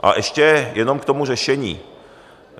A ještě jenom k tomu řešení.